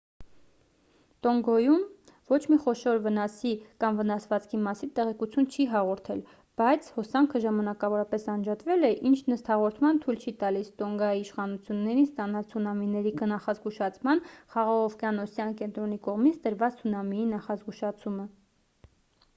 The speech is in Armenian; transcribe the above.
տոնգայում ոչ մի խոշոր վնասի կամ վնասվածքի մասին տեղեկություն չի հաղորդել բայց հոսանքը ժամանակավորապես անջատվել է ինչն ըստ հաղորդման թույլ չի տալիս տոնգայի իշխանություններին ստանալ ցունամիների նախազգուշացման խաղաղօվկիանոսյան կենտրոնի կողմից տրված ցունամիի նախազգուշացումը